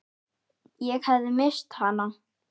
Ég hafði misst hana.